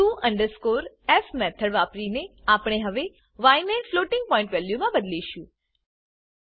to underscore f method વાપરીને આપણે હવે ય ને ફ્લોટિંગ પોઇન્ટ વેલ્યુમા બદીલીશું